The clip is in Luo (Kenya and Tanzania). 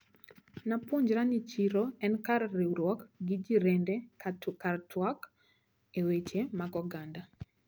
Napuonjra ni chiro en kar riwruok gi jirende kawatwak e weche mag oganda.